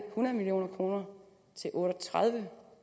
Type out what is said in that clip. hundrede million kroner til otte og tredive